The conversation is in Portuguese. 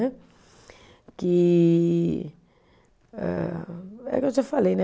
Que ah, é o que eu já falei, né?